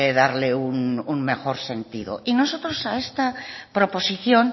darle un mejor sentido y nosotros a esta proposición